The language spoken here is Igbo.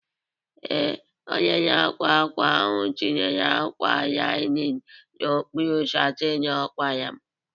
Ee, onye na-akwa ákwà ahụ tinyere ákwà linin n'okpuru satịn ọ kwara m